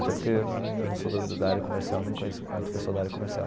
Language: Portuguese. Até porque eu não sou da da área comercial, nem conheço muito pessoal da área comercial.